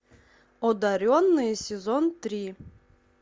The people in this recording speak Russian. одаренные сезон три